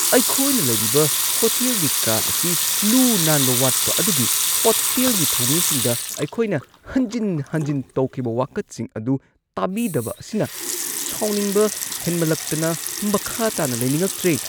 ꯑꯩꯈꯣꯏꯅ ꯂꯩꯔꯤꯕ ꯍꯣꯇꯦꯜꯒꯤ ꯀꯥ ꯑꯁꯤ ꯂꯨ-ꯅꯥꯟꯕ ꯋꯥꯠꯄ ꯑꯗꯨꯒꯤ ꯍꯣꯇꯦꯜꯒꯤ ꯊꯧꯃꯤꯁꯤꯡꯗ ꯑꯩꯈꯣꯏꯅ ꯍꯟꯖꯤꯟ ꯍꯟꯖꯤꯟ ꯇꯧꯈꯤꯕ ꯋꯥꯀꯠꯁꯤꯡ ꯑꯗꯨ ꯇꯥꯕꯤꯗꯕ ꯑꯁꯤꯅ ꯁꯥꯎꯅꯤꯡꯕ ꯍꯦꯟꯃꯟꯂꯛꯇꯅ ꯃꯈꯥ ꯇꯥꯅ ꯂꯩꯅꯤꯡꯉꯛꯇ꯭ꯔꯦ꯫